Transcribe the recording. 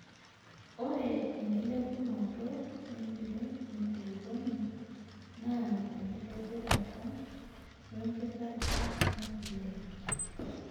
Ore enkilepunoto empiron enkulukuon naa tenkitobirata wempikata empuliya.